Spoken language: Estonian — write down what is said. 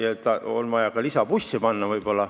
On vaja võib-olla ka lisabusse panna.